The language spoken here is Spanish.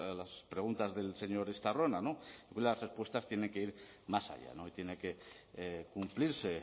las preguntas del señor estarrona no hoy las respuestas tienen que ir más allá y tiene que cumplirse